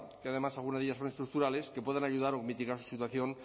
que además algunas de ellas son estructurales que pueden ayudar o mitigar su situación